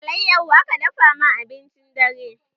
Alayyaho aka dafa ma abincin dare